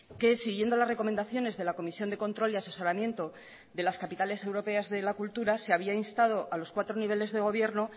que siguiendo las recomendaciones de la comisión de control y asesoramiento de las capitales europeas de la cultura se había instado a los cuatro niveles de gobierno